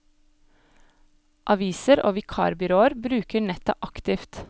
Aviser og vikarbyråer bruker nettet aktivt.